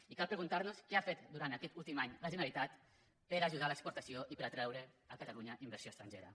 i cal preguntar nos què ha fet durant aquest últim any la generalitat per ajudar a l’exportació i per atreure a catalunya inversió estrangera